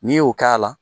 N'i y'o k'a la